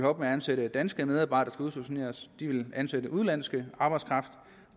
op med at ansætte danske medarbejdere der udstationeres de vil ansætte udenlandsk arbejdskraft